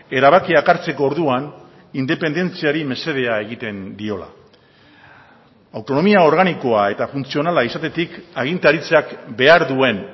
erabakiak hartzeko orduan independentziari mesedea egiten diola autonomia organikoa eta funtzionala izatetik agintaritzak behar duen